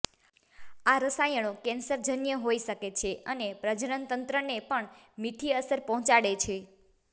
આ રસાયણો કેન્સરજન્ય હોઇ શકે છે અને પ્રજનનતંત્રને પણ મીઠી અસર પહોંચાડે છે